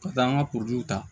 Ka taa an ka ta